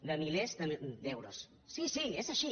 de milers d’euros sí sí és així